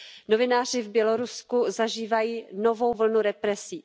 Novináři v Bělorusku zažívají novou vlnu represí.